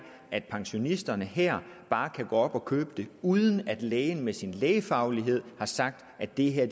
at pensionisterne her bare kan gå op og købe det uden at lægen med sin lægefaglighed har sagt at det her